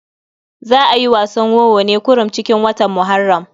Za a yi wasan wowo ne kurum cikin watan Muharram.